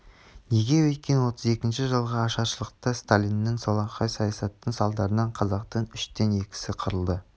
неге өйткен отыз екінші жылғы ашаршылықта сталиндік солақай саясаттың салдарынан қазақтың үштен екісі қырылды